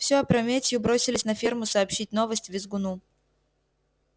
всё опрометью бросились на ферму сообщить новость визгуну